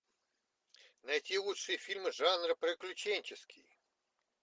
найти лучшие фильмы жанра приключенческий